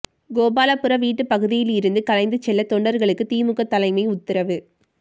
கோபாலபுரம் வீட்டுப் பகுதியிலிருந்து கலைந்து செல்ல தொண்டர்களுக்கு திமுக தலைமை உத்தரவு